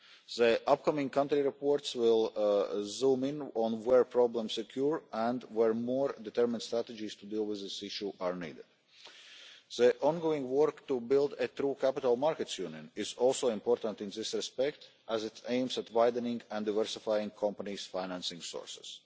The upcoming country reports will zoom in on where problems occur and where more determined strategies to deal with this issue are needed. The ongoing work to build a true capital markets union is also important in this respect as it aims at widening and diversifying companies' financing sources.